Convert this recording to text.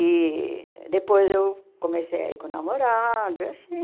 E depois eu comecei a ir com o namorado, assim.